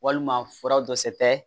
Walima furaw dɔ se tɛ